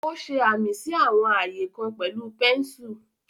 Ó ṣe amí sí àwọn ààyè kan pẹ̀lú pẹ́ńsù.